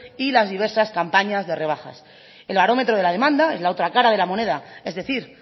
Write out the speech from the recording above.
y las diversas campañas de rebajas el barómetro de la demanda es la otra cara de la moneda es decir